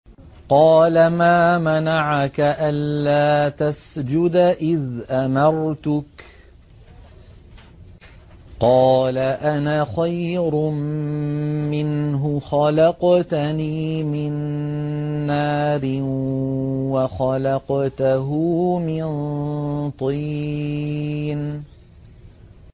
قَالَ مَا مَنَعَكَ أَلَّا تَسْجُدَ إِذْ أَمَرْتُكَ ۖ قَالَ أَنَا خَيْرٌ مِّنْهُ خَلَقْتَنِي مِن نَّارٍ وَخَلَقْتَهُ مِن طِينٍ